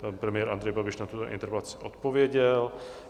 Pan premiér Andrej Babiš na tuto interpelaci odpověděl.